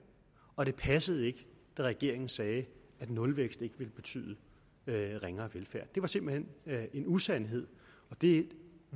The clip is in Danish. og ikke passede da regeringen sagde at nulvækst ikke ville betyde ringere velfærd det var simpelt hen en usandhed og det